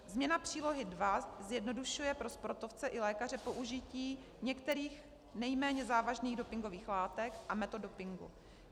Změna Přílohy II zjednodušuje pro sportovce i lékaře použití některých nejméně závažných dopingových látek a metod dopingu.